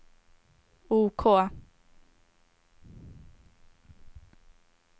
OK